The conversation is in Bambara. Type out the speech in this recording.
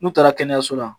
N'u taara kɛnɛyaso la